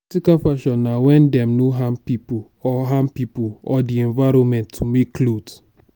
ethical fashion na wen dem no harm pipo or harm pipo or de environment to make cloth